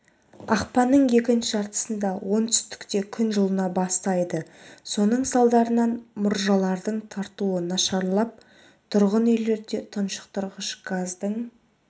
ақпанның екінші жартысында оңтүстікте күн жылына бастайды соның салдарынан мұржалардың тартуы нашарлап тұрғын үйлерде тұншықтырғыш газдың